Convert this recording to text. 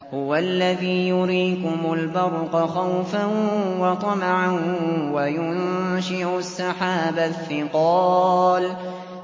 هُوَ الَّذِي يُرِيكُمُ الْبَرْقَ خَوْفًا وَطَمَعًا وَيُنشِئُ السَّحَابَ الثِّقَالَ